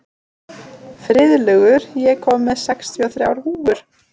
Friðlaugur, ég kom með sextíu og þrjár húfur!